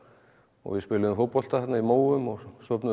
og við spiluðum fótbolta þarna í móum og stofnuðum